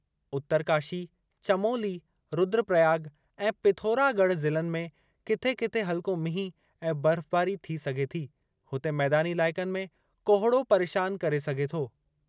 उतरकाशी, चमोली, रुद्रप्रयाग ऐं पिथौरागढ़ ज़िलनि में किथे किथे हल्को मींहुं ऐं बर्फ़बारी थी सघे थी, हुते मैदानी इलाइक़नि में कोहिड़ो परेशान करे सघे थो।